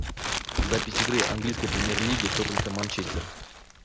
запись игры английской премьер лиги тоттенхэм манчестер